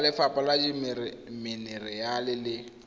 wa lefapha la dimenerale le